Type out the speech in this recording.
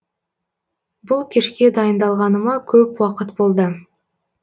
бұл кешке дайындалғаныма көп уақыт болды